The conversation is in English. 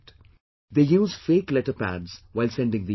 They use fake letter pads while sending these letters